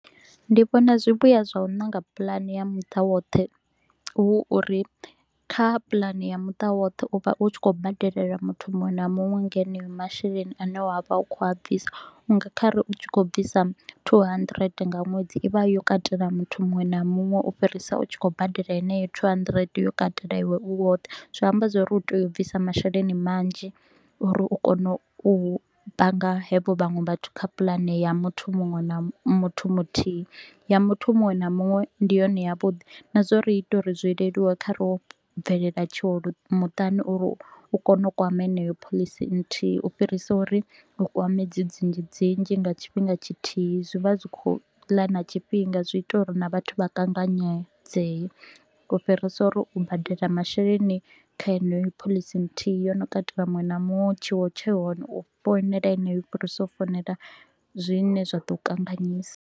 Ndi vhona zwivhuya zwa u nanga puḽane ya muṱa woṱhe hu uri kha puḽani ya muṱa woṱhe u vha u tshi kho u badelela muthu muṅwe na muṅwe nga haneyo masheleni a ne wa vha u kho u a bvisa. U nga khare u tshi kho u bvisa two hundred nga ṅwedzi i vha yo katela muthu muṅwe na muṅwe u fhirisa u tshi kho u badela heneyo two hundred yo katela iwe u woṱhe. Zwi amba zwa uri u tea u bvisa masheleni manzhi uri u kone u panga havho vhaṅwe vhathu kha puḽani ya muthu muṅwe na muthu muthihi. Ya muthu muṅwe na muṅwe ndi yone ya vhuḓi na zwa uri i ita uri zwi leluwe kha ro bvelela tshiwo muṱani uri u kone u kwama heneyo pholisi nnthihi u fhirisa uri u kwame dzi dzinzhi dzinzhi nga tshifhinga tshithihi. Zwi vha zwi kho u ḽa na tshifhinga zwi ita uri na vhathu vha kanganyedzee, u fhirisa uri u badela masheleni kha heneyo phoḽisi nthihi yo no katela muṅwe na muṅwe, tshiwo tshi hone u founela heneyo u fhirisa u founela zwine zwa ḓo u kanganyisa